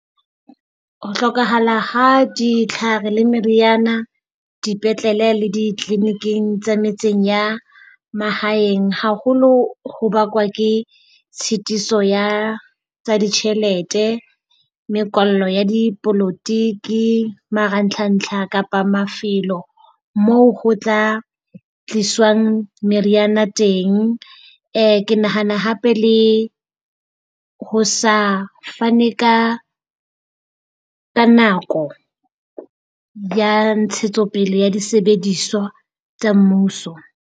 Ho hlokahala ha ditlhare le meriana, dipetlele le di-clini-ing tsa metseng ya mahaeng haholo ho bakwa ke tshitiso ya tsa ditjhelete, mekwallo ya dipolotiki, maratlhantlha kapa mafelo moo ho tla tliswang meriana teng. Ke nahana hape le ho sa fane ka ka nako ya ntshetsopele ya disebediswa tsa mmuso.